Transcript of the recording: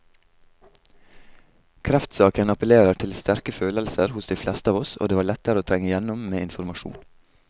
Kreftsaken appellerer til sterke følelser hos de fleste av oss, og det var lettere å trenge igjennom med informasjon.